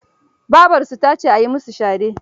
Babarsu ta ce a yi musu shade.